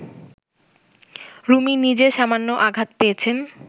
রুমি নিজে সামান্য আঘাত পেয়েছেন